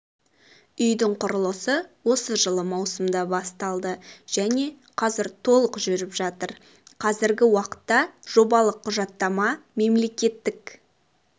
үйлердің құрылысы осы жылы маусымда басталды және қазір толық жүріп жатыр қазіргі уақытта жобалық құжаттама мемлекеттік